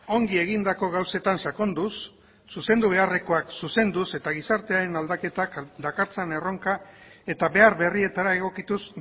ongi egindako gauzetan sakonduz zuzendu beharrekoak zuzenduz eta gizartearen aldaketak dakartzan erronka eta behar berrietara egokituz